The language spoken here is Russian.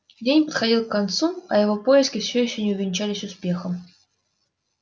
день подходил к концу а его поиски всё ещё не увенчались успехом